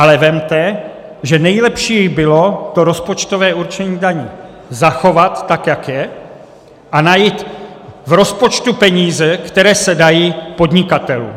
Ale vezměte, že nejlepší bylo to rozpočtové určení daní zachovat tak, jak je, a najít v rozpočtu peníze, které se dají podnikatelům.